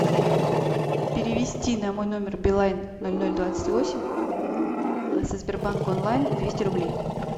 перевести на мой номер билайн ноль ноль двадцать восемь со сбербанк онлайн двести рублей